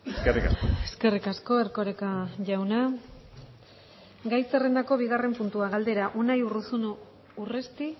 eskerrik asko eskerrik asko erkoreka jauna gai zerrendako bigarren puntua galdera unai urruzuno urresti